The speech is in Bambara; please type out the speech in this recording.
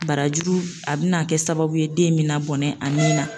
Barajuru a bina kɛ sababu ye, den mina bɔnɛ a ni na